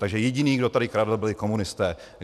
Takže jediný, kdo tady kradl, byli komunisté.